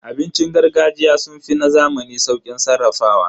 Abincin gargajiya sun fi na zamani sauƙin sarrafawa.